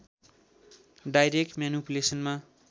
direct म्यानिपुलेसनमा